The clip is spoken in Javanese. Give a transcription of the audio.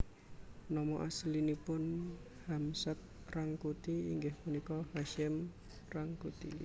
Nama aslinipun Hamsad Rangkuti inggih punika Hasyim Rangkuti